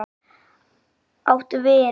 Áttu vin?